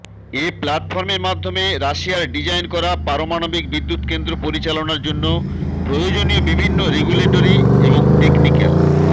এ প্ল্যাটফর্মের মাধ্যমে রাশিয়ার ডিজাইন করা পারমাণবিক বিদ্যুৎকেন্দ্র পরিচালনার জন্য প্রয়োজনীয় বিভিন্ন রেগুলেটরি এবং টেকনিক্যাল